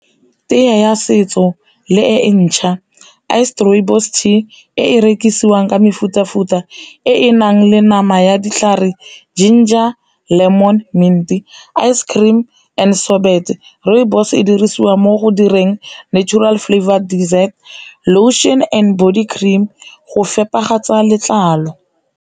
Tee ya setso le e ntšha, iced rooibos tea e e rekisiwang ka mefuta-futa e e nang le nama ya ditlhare ginger, lemon, mint, ice cream and sorbet. Rooibos e dirisiwa mo go direng natural flavoured dessert, lotion and body cream go fepa ga tsa letlalo.